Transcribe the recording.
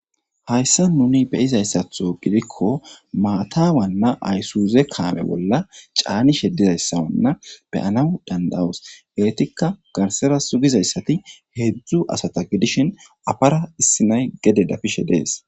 Hayssan nuni be7izaysstho gidikko maata waanna aysozi bollakaame caanishe dizayssa be7anaw danda7oos.etikka garssara sugizay heedzdzu asata gidishin afara issina7ay gede dafishe dees.